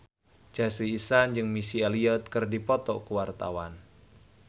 Chelsea Islan jeung Missy Elliott keur dipoto ku wartawan